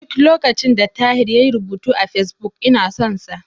Duk lokacin da Tahir yayi rubutu a Fesbuk, ina son sa.